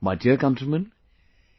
My dear countrymen,